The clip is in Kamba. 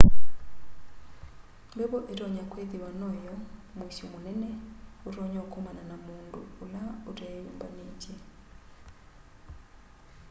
mbevo itonya kwithiwa no my'o muisyo munene utonya ukomana na mundu ula uteyumbanitye